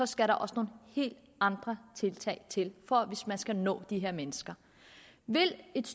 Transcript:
skal der også nogle helt andre tiltag til hvis man skal nå de her mennesker vil et